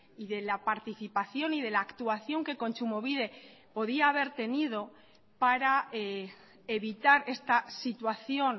y de la participación y de la actuación que kontsumobide podía haber tenido para evitar esta situación